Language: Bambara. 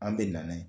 An bɛ na n'a ye